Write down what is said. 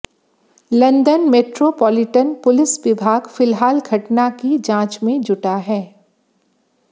London metropolitan police विभाग फिलहाल घटना की जांच में जुटा है